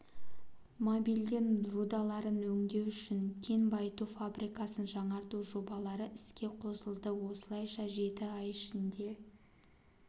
молибден рудаларын өңдеу үшін кен байыту фабрикасын жаңарту жобалары іске қосылды осылайша жеті ай ішінде